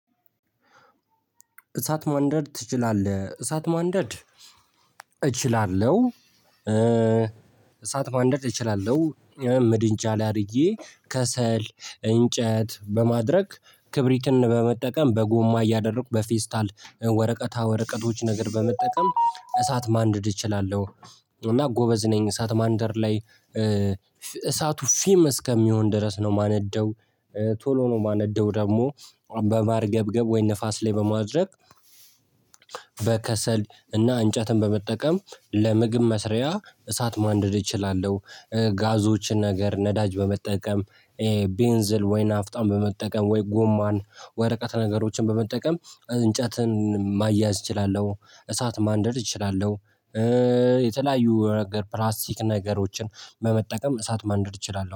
እሳት ማንደድ ትችላለህ እሳት ማንደድ እችላለሁ እሳት ማንደድ እችላለሁ። ምድጃ ላይ አድርጌ ከሰል እንጨት በማድረግ ክብሪትን በመጠቀም በጎማ እያደረኩ በፌስታል ወረቀታ ወረቀቶች ነገር በመጠቀም እሳት ማንደድ እችላለሁ። እና ጎበዝ ነኝ እሳት ማንደድ ላይ እሳቱ ፊም እስከሚሆን ድረስ ነው የማነደው። ቶሎ ነው የማነደው ደግሞ በማርገብገብ ወይ ንፋስ ላይ በማድረግ። በከሰል እና እንጨትን በመጠቀም ለምግብ መስሪያ እሳት ማንደድ እችላለሁ። ጋዞችን ነገር ነዳጅ በመጠቀም ቤንዝል ወይ ናፍጣን በመጠቀም ወይ ጎማን ወረቀት ነገሮችን በመጠቀም እንጨትን ማያያዝ እችላለሁ እሳት ማንደድ እችላለሁ። የተለያዩ ፕላስቲክ ነገሮችን በመጠቀም እሳት ማንደድ እችላለሁ